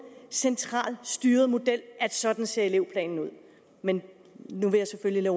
centralt styret model for at sådan ser elevplanen ud men nu vil jeg selvfølgelig